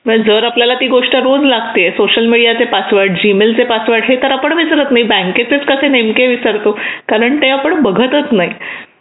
मग जर आपल्याला ही गोष्ट रोज लागते सोशल मीडियाचे पासवर्ड जीमेलचे पासवर्ड हे तर आपण विसरत नाही मग बँकेचे पासवर्ड कसे नेमके विसरतो कारण ते आपण बघतच नाही